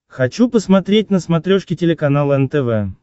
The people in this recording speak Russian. хочу посмотреть на смотрешке телеканал нтв